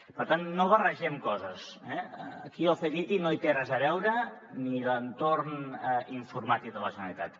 per tant no barregem coses eh aquí el ctti no hi té res a veure ni l’entorn informàtic de la generalitat